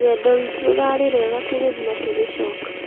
rũgendo rwĩtu rũrarĩ rwega tũgĩthiĩ na tũgicoka